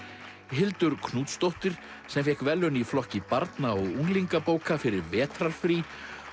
Hildur Knútsdóttir sem fékk verðlaun í flokki barna og unglingabóka fyrir vetrarfrí